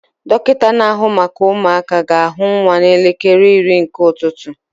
Dọkịta na-ahụ maka ụmụaka ga-ahụ nwa n'elekere iri nke ụtụtụ